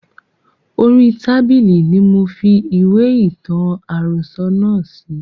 Orí tábìlì ni mofi ìwé ìtàn àròsọ̀ náà sí